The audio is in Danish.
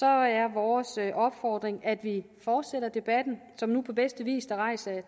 er vores opfordring at vi fortsætter debatten som nu på bedste vis er rejst af